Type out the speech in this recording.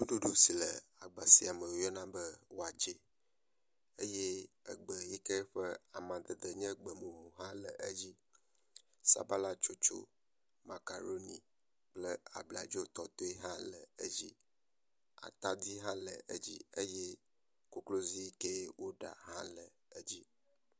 Nuɖuɖu si le agba sia me woyɔna be watsɛ eye egbe yi ke ƒe amadede nye egbemumu hã le edzi. Sabala tsotso, makaɖoni kple abladzotɔtɔe, hã le edzi. Atadi hã le edzi eye kokloi yi kee woɖa hã le edzi.